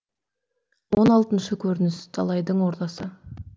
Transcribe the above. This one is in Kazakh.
он алтыншы көрініс далайдың ордасы